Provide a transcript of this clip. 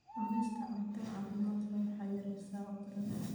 Cunista cunto caafimaad leh waxay yaraysaa cudurrada.